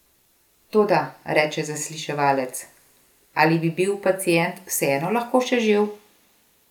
Toda, reče zasliševalec, ali bi bil pacient vseeno lahko še živ?